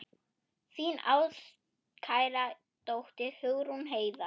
Þín ástkæra dóttir, Hugrún Heiða.